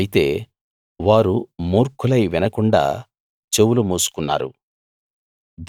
అయితే వారు మూర్ఖులై వినకుండా చెవులు మూసుకున్నారు